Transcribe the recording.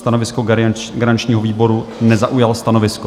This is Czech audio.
Stanovisko garančního výboru: nezaujal stanovisko.